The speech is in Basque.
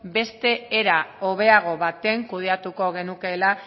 beste era hobeago baten kudeatuko genukeela